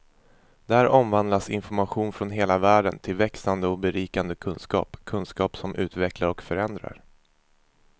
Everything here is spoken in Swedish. Där omvandlas information från hela världen till växande och berikande kunskap, kunskap som utvecklar och förändrar.